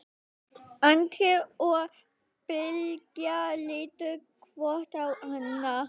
Andri og Bylgja litu hvort á annað.